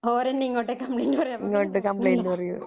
ഒരന്നെ ഇങ്ങോട്ടേക്കു പറയും കംപ്ലൈന്റ് പറയും അപ്പം